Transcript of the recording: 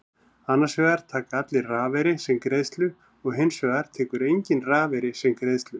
Annars vegar taka allir rafeyri sem greiðslu og hins vegar tekur enginn rafeyri sem greiðslu.